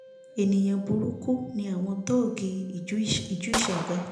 ènìyàn burúkú ni àwọn tóógì ìjú ìshaga